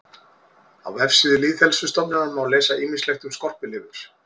Á vefsíðu Lýðheilsustöðvar má lesa ýmislegt um skorpulifur.